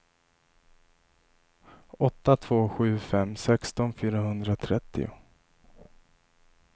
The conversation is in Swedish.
åtta två sju fem sexton fyrahundratrettio